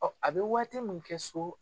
a bɛ waati min kɛ so.